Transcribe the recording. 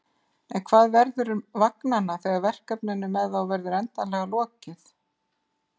En hvað verður um vagnanna þegar verkefninu með þá verður endanlega lokið?